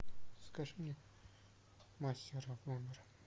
закажи мне мастера в номер